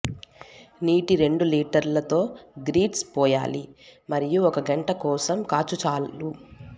నీటి రెండు లీటర్ల తో గ్రిట్స్ పోయాలి మరియు ఒక గంట కోసం కాచు చాలు